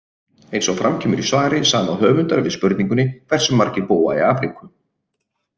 Eins og fram kemur í svari sama höfundar við spurningunni Hversu margir búa í Afríku?